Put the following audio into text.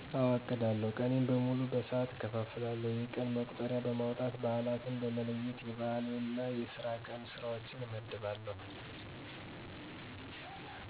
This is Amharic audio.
አወ አቅዳለሁ። ቀኔን በሙሉ በሠዓት እከፋፍለዋለሁ። የቀን መቁጠሪያ በማውጣት በአላትን በመለየት የበአል እና የስራ ቀን ስራዎችን እመድባለሁ።